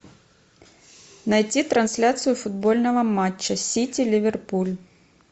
найти трансляцию футбольного матча сити ливерпуль